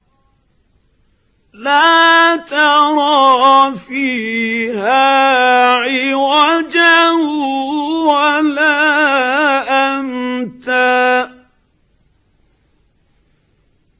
لَّا تَرَىٰ فِيهَا عِوَجًا وَلَا أَمْتًا